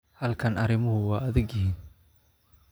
Halkan arrimuhu waa adag yihiin